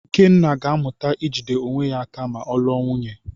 Ikenna ga-amụta ijide onwe ya aka ma ọ lụọ nwunye.